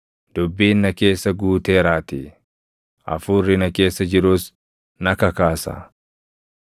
Dubbiin na keessa guuteeraatii; hafuurri na keessa jirus na kakaasa;